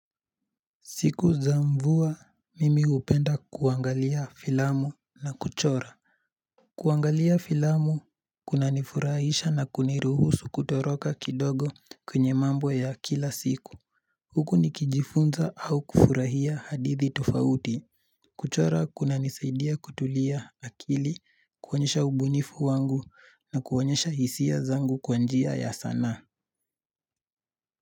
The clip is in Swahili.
Siku za mvua mimi hupenda kuangalia filamu na kuchora kuangalia filamu kunanifurahisha na kuniruhusu kutoroka kidogo kwenye mambo ya kila siku Huku nikijifunza au kufurahia hadithi tofauti kuchora kunanisaidia kutulia akili kuonyesha ubunifu wangu na kuonyesha hisia zangu kwa njia ya sanaa.